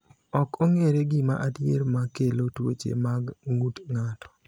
Ok ong’ere gima adier ma kelo tuoche mag ng’ut ng’ato.